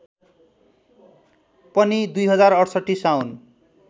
पनि २०६८ साउन